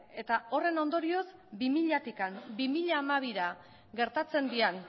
eta horren ondorioz bi milatik bi mila hamabira gertatzen diren